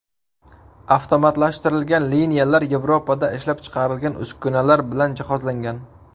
Avtomatlashtirilgan liniyalar Yevropada ishlab chiqarilgan uskunalar bilan jihozlangan.